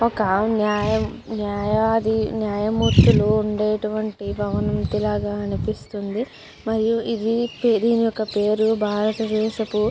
ఒక ఆయన న్యాయది న్యాయమూర్తులు ఉండేటివంటి భవంతిలాగా అనిపిస్తుంది మరి ఇది ఒక పేరు భారతదేశపు --